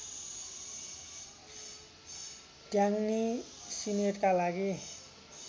ट्यान्ग्नी सिनेटका लागि